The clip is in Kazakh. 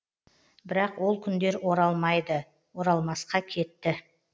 бірақ ол күндер оралмайды оралмасқа кетті